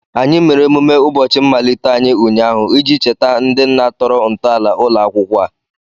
Anyị mere emume ụbọchị mmalite anyị ụnyaahụ iji cheta ndị nna tọrọ ntọala ụlọ akwụkwọ a